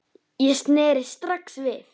Ég sneri strax við.